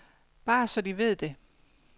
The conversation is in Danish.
Bare så de ved det.